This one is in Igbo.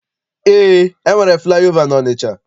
Eé, e nwere flaị ova n'Ọnịcha.